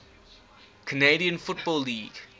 canadian football league